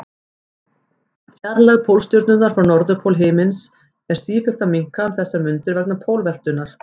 Fjarlægð Pólstjörnunnar frá norðurpól himins er sífellt að minnka um þessar mundir vegna pólveltunnar.